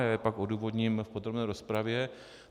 Já je pak odůvodním v podrobné rozpravě.